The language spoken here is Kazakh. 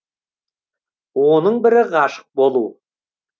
оның бірі ғашық болу